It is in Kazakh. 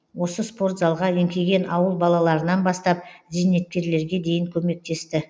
осы спорт залға еңкейген ауыл балаларынан бастап зейнеткерлерге дейін көмектесті